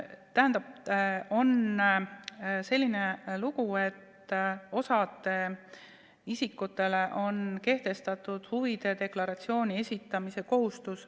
Tähendab, lugu on selline, et osale isikutele on seadusega kehtestatud huvide deklaratsiooni esitamise kohustus.